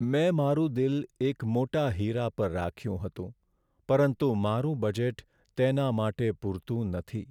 મેં મારું દિલ એક મોટા હીરા પર રાખ્યું હતું, પરંતુ મારું બજેટ તેના માટે પૂરતું નથી.